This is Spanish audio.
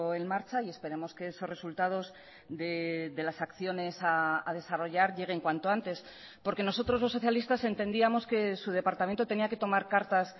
en marcha y esperemos que esos resultados de las acciones a desarrollar lleguen cuanto antes porque nosotros los socialistas entendíamos que su departamento tenía que tomar cartas